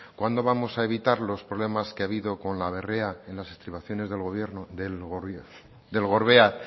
cuándo vamos a evitar los problemas que ha habido con la berrea en las estimaciones del gorbea